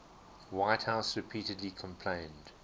whitehouse repeatedly complained